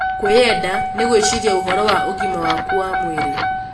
Kwĩenda nĩ gwĩciria ũhoro wa ũgima waku wa mwĩrĩ.